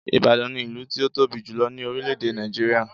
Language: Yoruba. Ìbàdàn ni ìlú tí ó tóbi jùlo ní orílè èdè Nàìjíríà